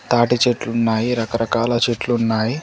తాటి చెట్లు ఉన్నాయి రకరకాల చెట్లు ఉన్నాయి.